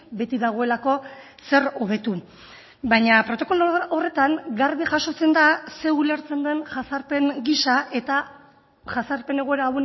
beti dagoelako zer hobetu baina protokolo horretan garbi jasotzen da zer ulertzen den jazarpen giza eta jazarpen egoera